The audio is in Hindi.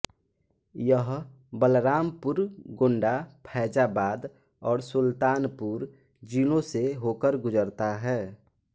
यह बलरामपुर गोंडा फ़ैज़ाबाद और सुल्तानपुर जिलों से होकर गुजरता है